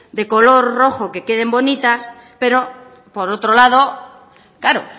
de color rojo que queden bonitas pero por otro lado claro